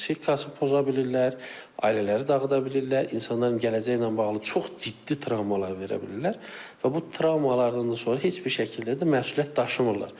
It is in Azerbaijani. Psixikasını poza bilirlər, ailələri dağıda bilirlər, insanların gələcəyi ilə bağlı çox ciddi travmalar verə bilirlər və bu travmalardan da sonra heç bir şəkildə də məsuliyyət daşımırlar.